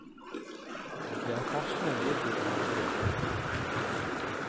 Det er forskning og utvikling vi driv.